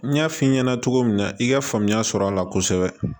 N y'a f'i ɲɛna cogo min na i ka faamuya sɔrɔ a la kosɛbɛ